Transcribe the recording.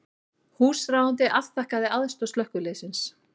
Húsráðandi afþakkaði aðstoð slökkviliðsins